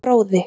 Fróði